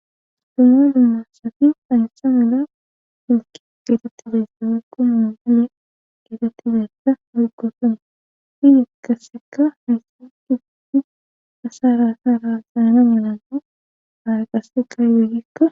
suma dummasafi aysa mala milki gitatta beyssawe kumaa male getatibessa hargosan fidi kasseka haysatifiti asa raasa raasaana milaana hara qasseka yoyekka